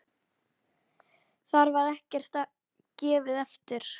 Þar er ekkert gefið eftir.